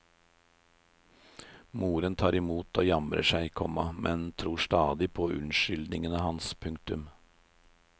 Moren tar imot og jamrer seg, komma men tror stadig på unnskyldningene hans. punktum